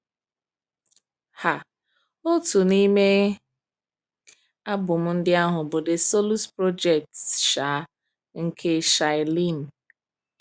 um Otu n’ime album ndị ahụ bụ The Solus Project um nke Shai Linne.